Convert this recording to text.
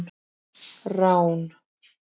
Rán